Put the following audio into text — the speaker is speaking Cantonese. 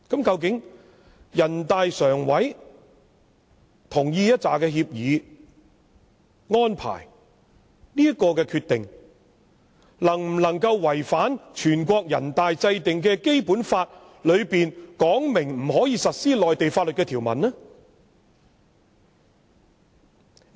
究竟人大常委會同意的協議、安排的這項決定，會否違反全國人大制定的《基本法》當中訂明不能在香港實施內地法律的條文呢？